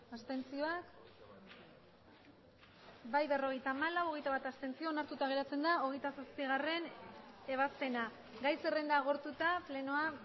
abstenzioak emandako botoak hirurogeita hamabost bai berrogeita hamalau abstentzioak hogeita bat onartuta geratzen da hogeita zazpigarrena ebazpena gai zerrenda agortuta plenoa